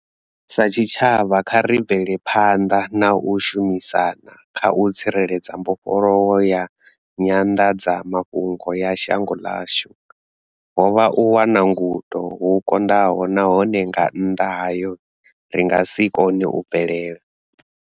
Sa tshitshavha, kha ri bvele phanḓa na u shumisana kha u tsireledza mbofholowo ya nyanḓadzamafhungo ya shango ḽashu. Ho vha u wana gundo hu konḓaho nahone nga nnḓa hayo, ri nga si kone u bvelela.